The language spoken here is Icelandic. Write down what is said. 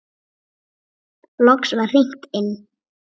Loks var hringt inn.